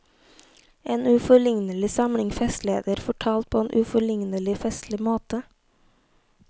En uforlignelig samling festligheter fortalt på en uforlignelig festlig måte.